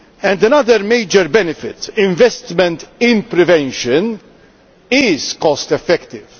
Another major benefit, investment in prevention, is cost effective.